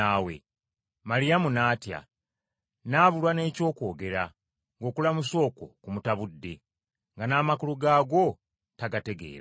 Maliyamu n’atya, n’abulwa n’ekyokwogera, ng’okulamusa okwo kumutabudde, nga n’amakulu gaakwo tagategeera.